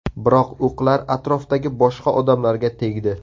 Biroq o‘qlar atrofdagi boshqa odamlarga tegdi.